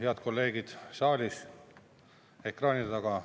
Head kolleegid saalis ja ekraanide taga!